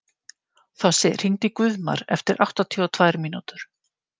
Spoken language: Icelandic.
Þossi, hringdu í Guðmar eftir áttatíu og tvær mínútur.